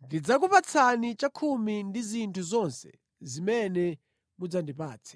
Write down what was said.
ndidzakupatsani chakhumi cha zinthu zonse zimene mudzandipatse.”